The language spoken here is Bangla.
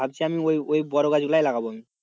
ভাবছি আমি ওই, ওই বড়ো গাছ গুলাই লাগাবো আমি,